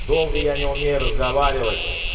долго я не умею разговаривать